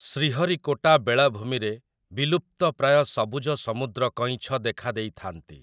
ଶ୍ରୀହରିକୋଟା ବେଳାଭୂମିରେ ବିଲୁପ୍ତପ୍ରାୟ ସବୁଜ ସମୁଦ୍ର କଇଁଛ ଦେଖାଦେଇଥାନ୍ତି ।